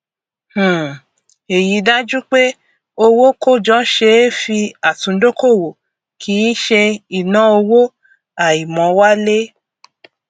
um èyí dájú pé owó kójọ ṣe é fi àtúndókòwò kì í ṣe ìnáowó àìmówálé